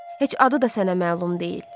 Heç adı da sənə məlum deyil.